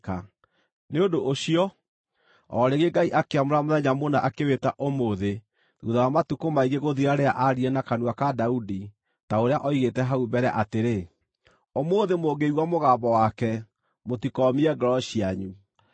Nĩ ũndũ ũcio, o rĩngĩ Ngai akĩamũra mũthenya mũna, akĩwĩĩta Ũmũthĩ, thuutha wa matukũ maingĩ gũthira rĩrĩa aaririe na kanua ka Daudi, ta ũrĩa oigĩte hau mbere atĩrĩ: “Ũmũthĩ, mũngĩigua mũgambo wake, mũtikoomie ngoro cianyu.”